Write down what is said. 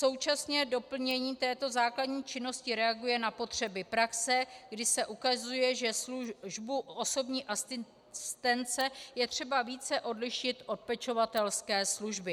Současně doplnění této základní činnosti reaguje na potřeby praxe, kdy se ukazuje, že službu osobní asistence je třeba více odlišit od pečovatelské služby.